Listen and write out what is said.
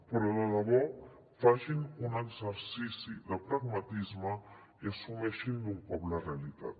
però de debò facin un exercici de pragmatisme i assumeixin d’un cop la realitat